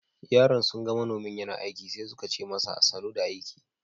Yaran sun ga manomin yana aiki sai suka ce masa "Sanu da aiki."